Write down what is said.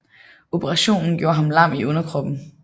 Operationen gjorde ham lam i underkroppen